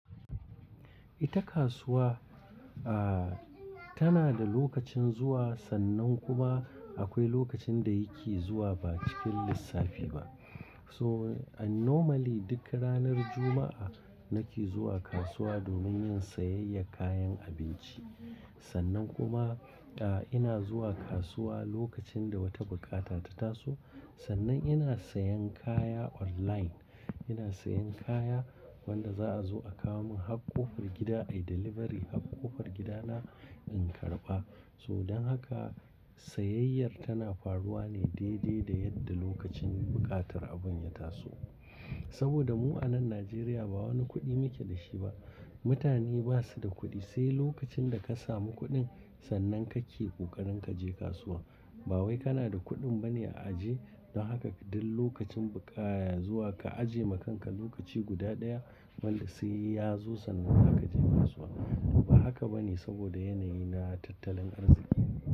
Ita kasuwa, ah, tana da lokacin zuwa sannan kuma akwai lokacin da yake zuwa ba cikin lissafi ba. So a normally duk ranar Juma'a nake zuwa kasuwa domin yin sayayyar kayan abinci. Sannan kuma, ah, ina zuwa kasuwa lokacin da wata bukata ta taso. Sannan ina sayen kaya online. Ina sayan kaya wanda za'a zo a kawo mun hakko far gida, I delivery hakko far gida na in karba. So don haka, sayayyar tana faruwa ne daidai da yadda lokacin buƙatar abun ya taso. Saboda mu'anan Najeriya ba wani kuɗi muke da shi ba. Mutane ba su da kuɗi, sai lokacin da ka samu kuɗin, sannan kake kokarin ka je kasuwar. Ba wai kana da kuɗin bane a aje don haka duk lokacin buƙata zuwa ka ajiye ma kanka lokaci guda ɗaya wanda sai ya zo sannan haka je kasuwa. Ba haka ba ne saboda yanayi na tattalin arziki.